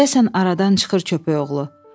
Deyəsən aradan çıxır köpəyoğlu.